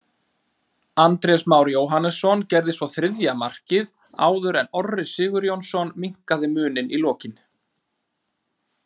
Andrés Már Jóhannesson gerði svo þriðja markið áður en Orri Sigurjónsson minnkaði muninn í lokin.